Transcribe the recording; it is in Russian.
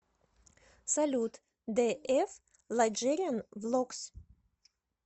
салют дэ эф лайджериан влогс